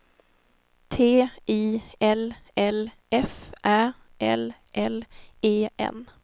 T I L L F Ä L L E N